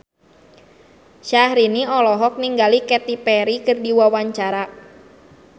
Syahrini olohok ningali Katy Perry keur diwawancara